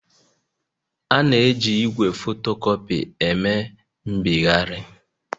A na-eji igwe fotocopy eme mbịgharị